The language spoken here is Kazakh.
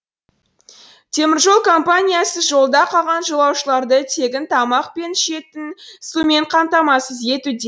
теміржол компаниясы жолда қалған жолаушыларды тегін тамақ пен ішетін сумен қамтамасыз етуде